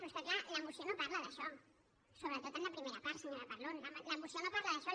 però és que clar la moció no parla d’això sobretot en la primera part senyora parlon la moció no parla d’això